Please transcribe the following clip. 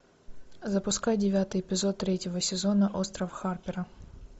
запускай девятый эпизод третьего сезона остров харпера